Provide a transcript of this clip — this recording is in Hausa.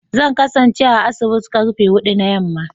Zan kasance a asibiti da karfe hudu na yamma